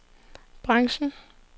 branchen